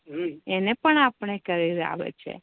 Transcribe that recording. એને પણ આપડે કરી આવે છે